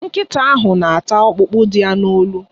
Nkịta ahụ na-ata ọkpụkpụ dị ya n'olu.